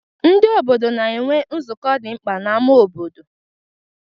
Ndị obodo na-enwe nzukọ dị mkpa n'ámá obodo.